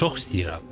Çox istəyirəm.